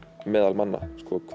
meðal manna